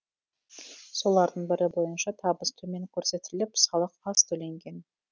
солардың бірі бойынша табыс төмен көрсетіліп салық аз төленген